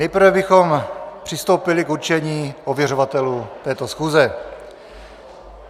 Nejprve bychom přistoupili k určení ověřovatelů této schůze.